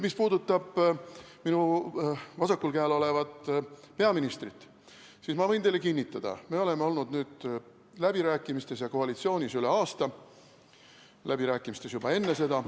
Mis puudutab minu vasakul käel olevat peaministrit, siis ma võin teile kinnitada, me oleme pidanud läbirääkimisi ja olnud koalitsioonis üle aasta, läbirääkimisi pidasime tegelikult juba enne seda.